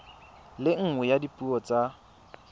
le nngwe ya dipuo tsa